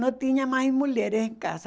não tinha mais mulheres em casa.